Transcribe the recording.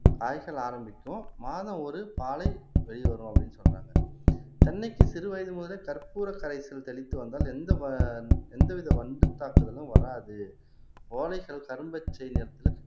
காய்ச்சல் ஆரம்பிக்கும் மாதம் ஒரு பாலை வெளிய வரும் அப்படின்னு சொல்றாங்க தென்னைக்கு சிறுவயது முதலே கற்பூர கரைசல் தெளித்து வந்தால் எந்தவ எந்தவித வண்டு தாக்குதலும் வராது ஓலைக்கல் கரும்பச்சை நிறத்துல